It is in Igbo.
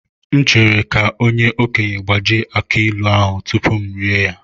M chere ka onye okenye gbajie aki ilu ahu tupu m erie ya.